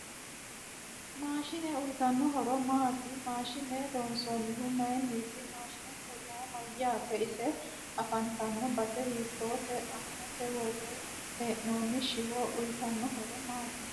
Maashine uyiitano horo maati maaashine loonsoonihu mayiiniti mashiinete yaa mayaate ise afantanno base hiitoote aanase worre heenooni shiwo uyiitanno horo maati